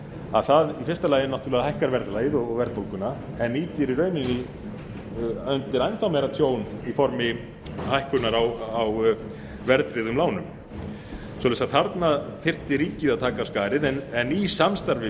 að það í fyrsta lagi hækkar verðlagið og verðbólguna en ýtir í rauninni undir enn þá meira tjón í formi hækkunar á verðtryggðum lánum svo að þarna þyrfti ríkið að taka af skarið en í samstarfi